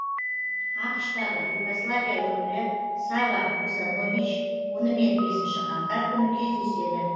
ақш тағы югославия өкілі сава косанович онымен бесінші қаңтар күні кездеседі